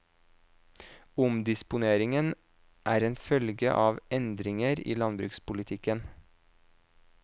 Omdisponeringen er en følge av endringer i landbrukspolitikken.